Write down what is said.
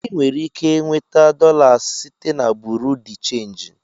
Ị nwere ike nweta dolas site na Buru di chenji